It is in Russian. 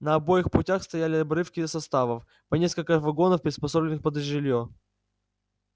на обоих путях стояли обрывки составов по несколько вагонов приспособленных под жильё